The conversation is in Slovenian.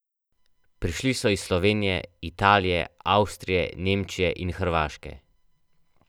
Prišli so iz Slovenije, Italije, Avstrije, Nemčije in Hrvaške.